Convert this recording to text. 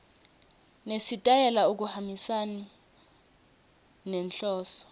nesitayela akuhambisani nenhloso